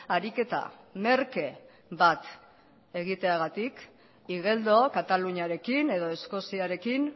ariketa merke bat egiteagatik igeldo kataluniarekin edo eskoziarekin